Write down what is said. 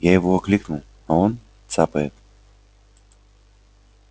я его окликнул а он цапает